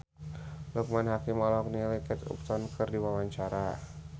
Loekman Hakim olohok ningali Kate Upton keur diwawancara